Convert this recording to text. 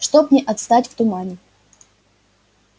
чтоб не отстать в тумане